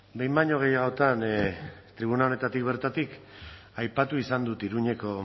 behin baino gehiagotan tribuna honetatik bertatik aipatu izan dut iruñeko